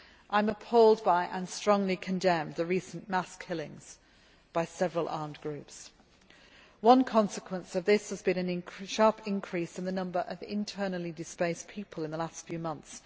I am appalled by, and strongly condemn, the recent mass killings by several armed groups. One consequence of this has been a sharp increase in the number of internally displaced people in the last few months.